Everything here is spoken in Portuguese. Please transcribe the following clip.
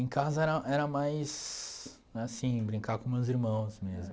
Em casa era era mais, assim, brincar com meus irmãos mesmo.